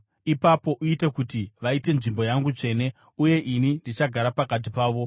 “Ipapo uite kuti vaite nzvimbo yangu tsvene, uye ini ndichagara pakati pavo.